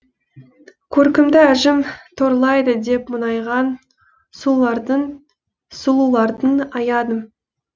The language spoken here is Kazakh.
көркімді әжім торлайды деп мұңайған сұлуларды аядым